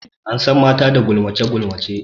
An san mata da gulmace gulmace.